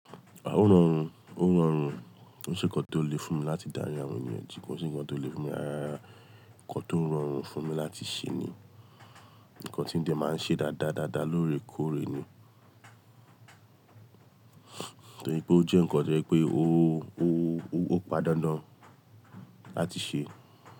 Ó rọrùn, ó rọrùn, kò se ǹkan tó le fún mi láti dari awon eniyan ji, kò se ǹkan tó le fún mi rárá. Ǹkan tó rọrùn fún mi láti ṣe ni, ǹkan tí ń de máa ń ṣe dáadáa dáadáa lóore kóóre ni, torí pé ó jẹ́ ǹkan tí o je pé ó, padà ndàn láti ṣe.